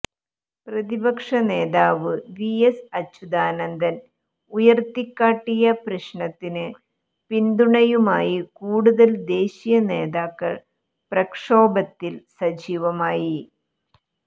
പ്രതിപക്ഷ നേതാവ് V S Achuthanandan ഉയർത്തിക്കാട്ടിയ പ്രശ്നത്തിന് പിന്തുണയുമായി കൂടുതൽ ദേശീയ നേതാക്കൾ പ്രക്ഷോഭത്തിൽ സജീവമായി